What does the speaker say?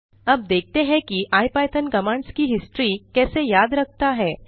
अब देखते हैं कि इपिथॉन कमांड्स की हिस्ट्री कैसे याद रखता है